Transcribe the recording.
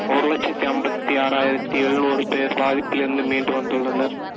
ஒரு லட்சத்தி ஐம்பத்தி ஆறாயிரத்தி எழுநூறு பேர் பாதிப்பிலிருந்து மீண்டு வந்துள்ளனர்